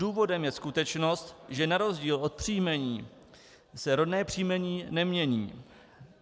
Důvodem je skutečnost, že na rozdíl od příjmení se rodné příjmení nemění.